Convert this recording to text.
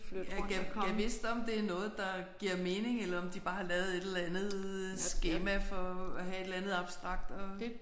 Ja gad gad vist om det er noget der giver mening eller om de bare har lavet et eller andet skema for at have et eller andet abstrakt at